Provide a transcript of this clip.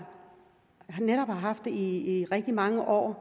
haft det i rigtig mange år